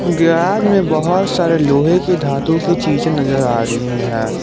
Garage में बहुत सारे लोहे की धातु की चीज नजर आ रही हैं।